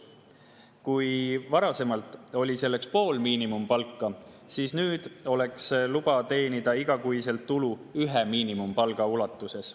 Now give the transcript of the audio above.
Kui varasemalt oli selleks pool miinimumpalka, siis nüüd oleks luba teenida igas kuus tulu ühe miinimumpalga ulatuses.